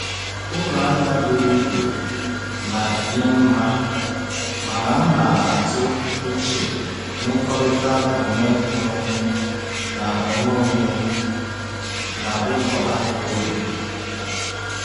Ụlọ ahịa buru ibu na-enye mma, mana m na-atụ uche mmekọrịta onwe onye na onwe onye na ụlọ ahịa ógbè.